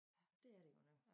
Dét er det godt nok